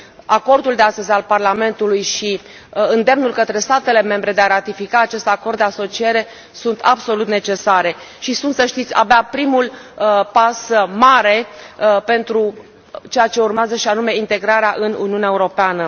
Acordul de astăzi al Parlamentului și îndemnul către statele membre de a ratifica acest Acord de asociere sunt absolut necesare, și sunt, să știți, abia primul pas mare pentru ceea ce urmează, și anume integrarea în Uniunea Europeană.